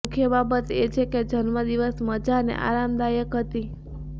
મુખ્ય બાબત એ છે કે જન્મદિવસ મજા અને આરામદાયક હતી